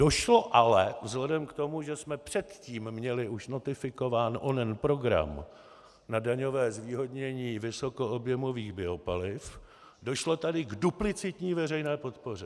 Došlo ale, vzhledem k tomu, že jsme předtím měli už notifikován onen program na daňové zvýhodnění vysokoobjemových biopaliv, došlo tady k duplicitní veřejné podpoře.